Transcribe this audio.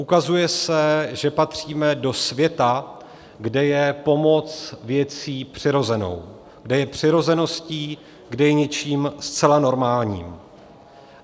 Ukazuje se, že patříme do světa, kde je pomoc věcí přirozenou, kde je přirozeností, kde je něčím zcela normálním.